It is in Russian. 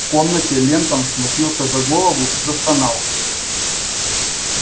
в комнате лентон схватился за голову и застонал